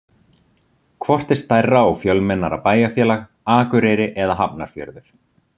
Hvort er stærra og fjölmennara bæjarfélag, Akureyri eða Hafnarfjörður?